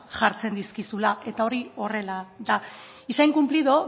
jartzen daizkizuela eta hori horrela da y se ha incumplido